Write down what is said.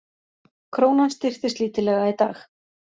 Krónan styrktist lítillega í dag